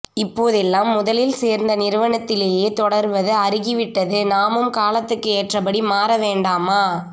இப்போதெல்லாம் முதலில் சேர்ந்த நிறுவனத்திலேயே தொடர்வது அருகி விட்டதுநாமும் காலத்துக்கு ஏற்றபடி மாறவேண்டாமா